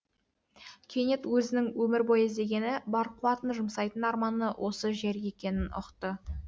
кенет өзінің өмір бойы іздегені бар қуатын жұмсайтын арманы осы жер екенін ұқты